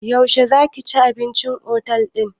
Yaushe za ka ci abinci a otel ɗin?